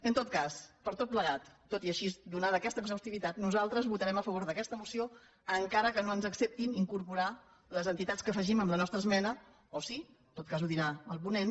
en tot cas per tot plegat tot i així donada aquesta exhaustivitat nosaltres votarem a favor d’aquesta moció encara que no ens acceptin incorporar les entitats que afegim en la nostra esmena o sí en tot cas ho dirà el ponent